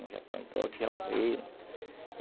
Uns já estão idosos, outros já morreram.